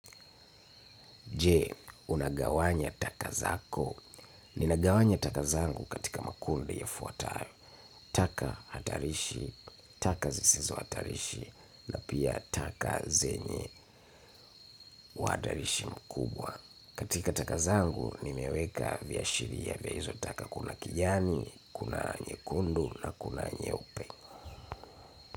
Je, unagawanya taka zako? Ninagawanya taka zangu katika makundi yafuatayo; Taka hatarishi, taka zisizo hatarishi, na pia taka zenye uhatarishi mkubwa. Katika taka zangu, nimeweka viashiria vya hizo taka kuna kijani, kuna nyekundu na kuna nyeupe.